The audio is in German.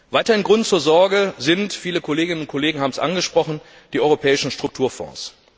Weiterhin Grund zur Sorge sind viele Kolleginnen und Kollegen haben es angesprochen die europäischen Strukturfonds.